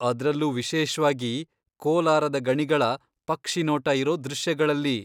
ಅದ್ರಲ್ಲೂ ವಿಶೇಷ್ವಾಗಿ, ಕೋಲಾರದ ಗಣಿಗಳ ಪಕ್ಷಿನೋಟ ಇರೋ ದೃಶ್ಯಗಳಲ್ಲಿ.